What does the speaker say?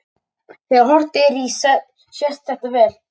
Þegar horft er í sést þetta vel.